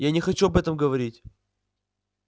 я не хочу об этом говорить